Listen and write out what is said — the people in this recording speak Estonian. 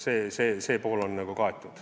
See pool on nagu kaetud.